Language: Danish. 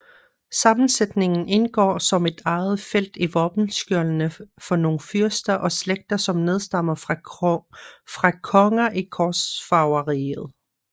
Sammensætningen indgår som et eget felt i våbenskjoldene for nogle fyrster og slægter som nedstammer fra konger i korsfarerriget